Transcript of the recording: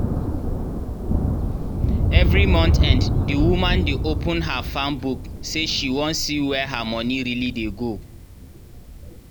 every month end the woman dey open her farm book say she wan see where her money really dey go.